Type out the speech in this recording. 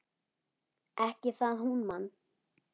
Ekki það hún man.